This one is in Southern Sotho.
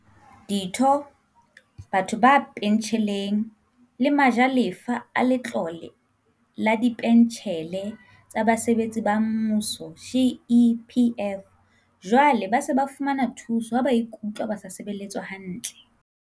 Ditho, batho ba pentjheleng le ma jalefa a Letlole la Dipentjhele tsa Basebetsi ba Mmuso, GEPF, jwale ba se ba fumana thuso ha ba ikutlwa ba sa sebeletswa hantle.